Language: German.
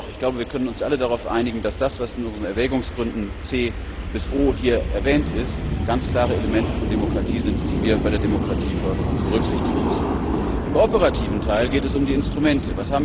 Dennoch, ich glaube, wir können uns alle darauf einigen, dass das, was in unseren Erwägungsgründen C bis O angeführt wird, ganz klare Elemente von Demokratie sind, die wir bei der Demokratieförderung berücksichtigen müssen. Im operativen Teil geht es um die Instrumente.